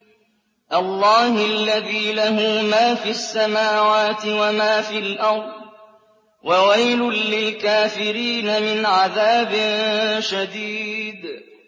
اللَّهِ الَّذِي لَهُ مَا فِي السَّمَاوَاتِ وَمَا فِي الْأَرْضِ ۗ وَوَيْلٌ لِّلْكَافِرِينَ مِنْ عَذَابٍ شَدِيدٍ